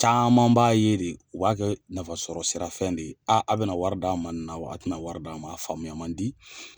Caman b'a ye de u b'a kɛ nafa sɔrɔ sira fɛn de ye a bɛ na wari d'an ma nin na a tɛ na wari d'an ma a faamuya man di.